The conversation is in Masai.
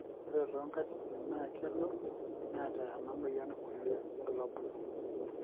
ore too nkatitin naa kelo neeta ena moyian kulie bulabol